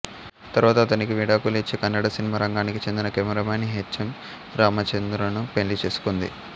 తరువాత అతనికి విడాకులు ఇచ్చి కన్నడ సినిమా రంగానికి చెందిన కెమెరామాన్ హెచ్ ఎం రామచంద్రను పెళ్ళి చేసుకుంది